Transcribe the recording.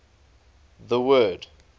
the word